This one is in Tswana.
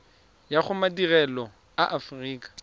ya go madirelo a aforika